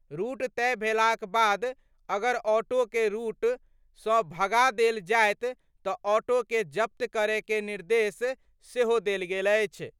Route तय भेलाक बाद अगर ऑटो के रूट सँ भगा देल जायत त ऑटो के जब्त करय के निर्देश सेहो देल गेल अछि।